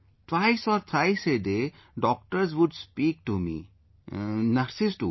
Twice or thrice a day, doctors would speak to me...nurses too